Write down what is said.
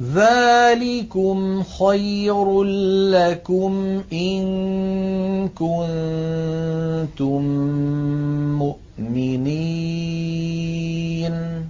ذَٰلِكُمْ خَيْرٌ لَّكُمْ إِن كُنتُم مُّؤْمِنِينَ